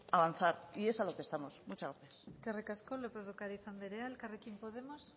avanzar y es a lo que estamos eskerrik asko lópez de ocariz anderea elkarrekin podemos